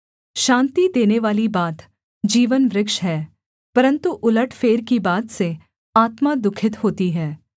शान्ति देनेवाली बात जीवनवृक्ष है परन्तु उलटफेर की बात से आत्मा दुःखित होती है